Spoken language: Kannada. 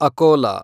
ಅಕೋಲಾ